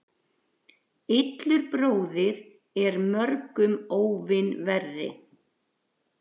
Illur bróðir er mörgum óvin verri.